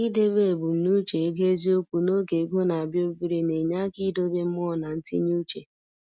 I debe ebumnuche ego eziokwu n’oge ego na-abịa obere na-enye aka idobe mmụọ na ntinye uche.